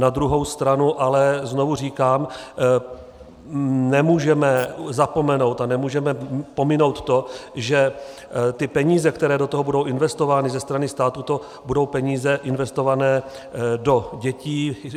Na druhou stranu ale znovu říkám, nemůžeme zapomenout a nemůžeme pominout to, že ty peníze, které do toho budou investovány ze strany státu, to budou peníze investované do dětí.